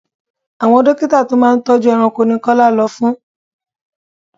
Àwon dókítà tó máa ń tọ́jú ẹranko ni Kọ́lá lọ fún.